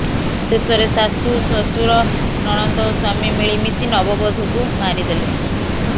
ଶେଷରେ ଶାଶୂ ଶ୍ୱଶୁର ନଣନ୍ଦ ଓ ସ୍ୱାମୀ ମିଳିମିଶିି ନବବଧୂକୁ ମାରି ଦେଲେ